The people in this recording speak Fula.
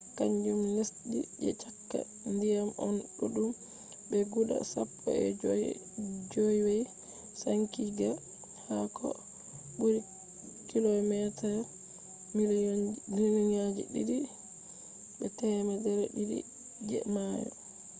kanjum lesdi je cakka ndiyam on ɗuɗɗum be guda sappo e jowey sankitigga ha ko ɓuri km2 miliyonji didi be temmere didi je mayo